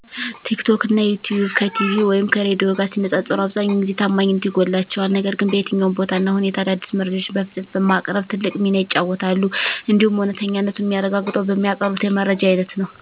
ቴክቶክ እና ዩቲዩብ ከቲቪ ወይም ከሬዲዮ ጋር ሲነፃፀሩ አብዛኛውን ጊዜ ታማኝነት ይጎላቸዋል ነገር ግን በየትኛውም ቦታ እና ሁኔታ አዳዲስ መረጃዎችን በፍጥነት በማቅረብ ትልቅ ሚና ይጫወታሉ። እንዲሁም እውነተኛነቱን ሚያረጋግጠው በሚያቀርቡት የመረጃ አይነት ነው።